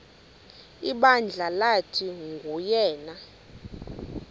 ibandla lathi nguyena